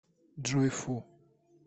джой фу